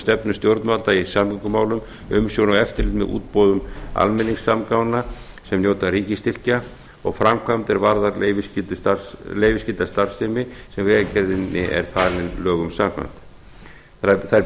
stefnu stjórnvalda í samgöngumálum umsjón og eftirlit með útboðum almenningssamgangna sem njóta ríkisstyrkja og framkvæmd er varða leyfisskylda starfsemi sem vegagerðinni er falið lögum samkvæmt þær